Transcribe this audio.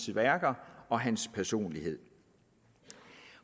værker og hans personlighed